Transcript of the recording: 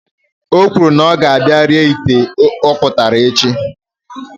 Ọ kwuru na ọ ga-abia ree ite ọkpụtara echi